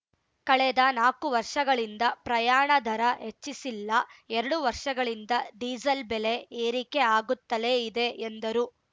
ಕಳೆದ ನಾಕು ವರ್ಷಗಳಿಂದ ಪ್ರಯಾಣ ದರ ಹೆಚ್ಚಿಸಿಲ್ಲ ಎರಡು ವರ್ಷಗಳಿಂದ ಡೀಸೆಲ್‌ ಬೆಲೆ ಏರಿಕೆ ಆಗುತ್ತಲೇ ಇದೆ ಎಂದರು